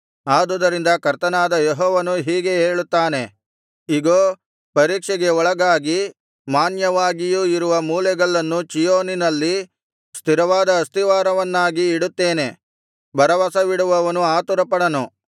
ಆದುದರಿಂದ ಕರ್ತನಾದ ಯೆಹೋವನು ಹೀಗೆ ಹೇಳುತ್ತಾನೆ ಇಗೋ ಪರೀಕ್ಷೆಗೆ ಒಳಗಾಗಿ ಮಾನ್ಯವಾಗಿಯೂ ಇರುವ ಮೂಲೆಗಲ್ಲನ್ನು ಚೀಯೋನಿನಲ್ಲಿ ಸ್ಥಿರವಾದ ಆಸ್ತಿವಾರವನ್ನಾಗಿ ಇಡುತ್ತೇನೆ ಭರವಸವಿಡುವವನು ಆತುರಪಡನು